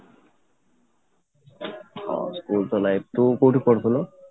ହଁ, school ତ life ତୁ କୋଉଠି ପଢ଼ୁଥିଲୁ ?